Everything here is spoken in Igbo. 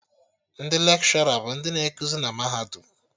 Ndị Lekshọra bụ ndị na ekuzi na mahadum